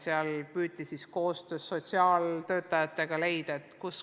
Sellistel juhtudel püüti koostöös sotsiaaltöötajatega lahendus leida.